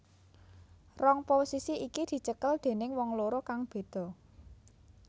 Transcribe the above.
Rong posisi iki dicekel déning wong loro kang beda